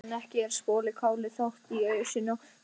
En ekki er sopið kálið þótt í ausuna sé komið.